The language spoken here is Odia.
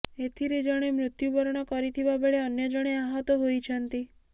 ଏଥିରେ ଜଣେ ମୃତ୍ୟୁବରଣ କରିଥିବା ବେଳେ ଅନ୍ୟ ଜଣେ ଆହତ ହୋଇଛନ୍ତି